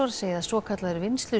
segja að svokallaður